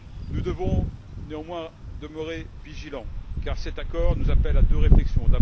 Nous devons néanmoins demeurer vigilants, car cet accord nous appelle à deux réflexions.